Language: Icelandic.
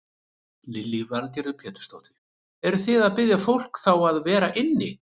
Lillý Valgerður Pétursdóttir: Eruð þið að biðja fólk þá að vera inni?